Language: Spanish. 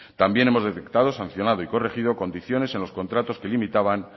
también hemos detectado sancionado y corregido condiciones en los contratos que limitaban